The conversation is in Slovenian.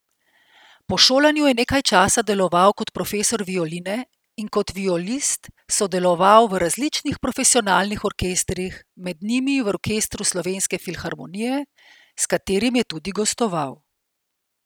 Po šolanju je nekaj časa deloval kot profesor violine in kot violist sodeloval v različnih profesionalnih orkestrih, med njimi v Orkestru Slovenske filharmonije, s katerim je tudi gostoval.